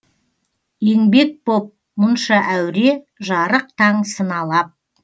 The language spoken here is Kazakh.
енбек боп мұнша әуре жарық таң сыналап